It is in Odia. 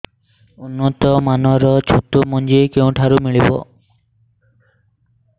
ଉନ୍ନତ ମାନର ଛତୁ ମଞ୍ଜି କେଉଁ ଠାରୁ ମିଳିବ